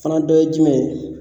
Fana dɔ ye jumɛn ye.